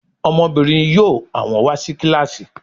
Ọmọbìnrin yóò àwọn wà sí kílàsì